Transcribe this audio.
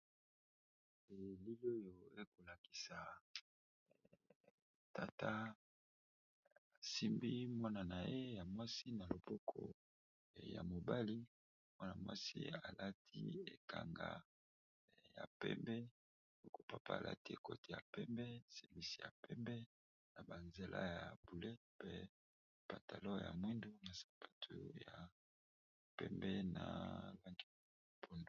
Elili oyo ezakolakisa tata asimbi mwanana ye ya mwasi na loboko ya mobali, mwana mwasi alati ekanga ya pembe, bongopapa alati koti ya pembe semisi ya pembe na banzela ya bleu, pe patalo ya mwindu na sapatu ya pembe na lange ya pondu.